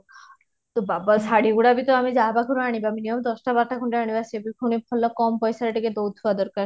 ବାବା ଶାଢ଼ି ଗୁଡା ବି ତ ଆମେ ଯାହା ପାଖରୁ ଆଣିବା minimum ଦଶଟା ବାରଟା ଖଣ୍ଡେ ଆଣିବା ସେ ବି ପୁଣି ଭଲ କମ ପଇସାରେ ଟିକେ ଦଉଥିବା ଦରକାର